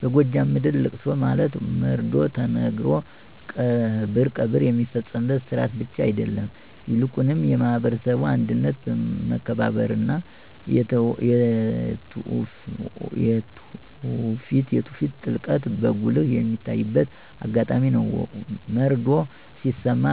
በጎጃም ምድር ለቅሶ ማለት መርዶ ተነግሮ ቀብር የሚፈጸምበት ሥርዓት ብቻ አይደለም፤ ይልቁንም የማህበረሰቡ አንድነት፣ መከባበርና የትውፊት ጥልቀት በጉልህ የሚታይበት አጋጣሚ ነው። መርዶው ሲሰማ